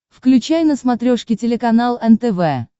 включай на смотрешке телеканал нтв